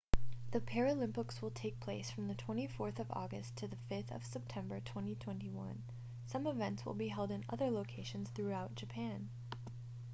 the paralympics will take place from 24 august to 5 september 2021 some events will be held in other locations throughout japan